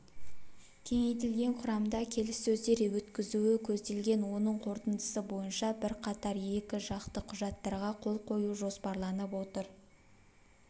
кеңейтілген құрамда келіссөздер өткізуі көзделген оның қорытындысы бойынша бірқатар екіжақты құжаттарға қол қою жоспарланып отыр